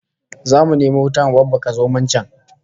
Zamu nemo wuta mu babbaka zomon can